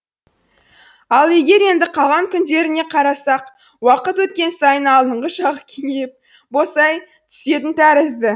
ал егер енді қалған күндеріне қарасақ уақыт еткен сайын алдыңғы жағы кеңейіп босай түсетін тәрізді